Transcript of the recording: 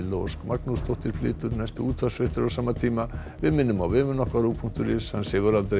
Ósk Magnúsdóttir flytur næstu útvarpsfréttir á sama tíma við minnum á vefinn okkar punktur is hann sefur aldrei